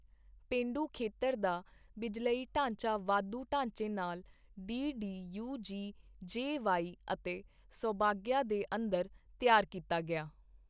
ਪੇਂਡੂ ਖੇਤਰ ਦਾ ਬਿਜਲਈ ਢਾਂਚਾ ਵਾਧੂ ਢਾਂਚੇ ਨਾਲ, ਡੀਡੀਯੂਜੀਜੇਵਾਏਅਤੇ ਸੌਭਾਗਯਾ ਦੇ ਅੰਦਰ ਤਿਆਰ ਕੀਤਾ ਗਿਆ